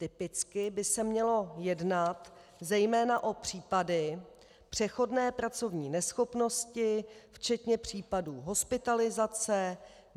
Typicky by se mělo jednat zejména o případy přechodné pracovní neschopnosti včetně případů hospitalizace.